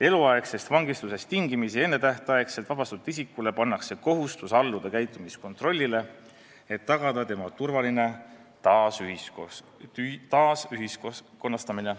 Eluaegsest vangistusest tingimisi ennetähtaegselt vabastatud isikule pannakse kohustus alluda käitumiskontrollile, et tagada tema turvaline taasühiskonnastamine.